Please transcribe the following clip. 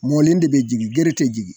Mɔlen de be jigin gere te jigin.